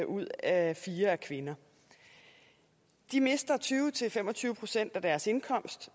ud af fire er kvinder de mister tyve til fem og tyve procent af deres indkomst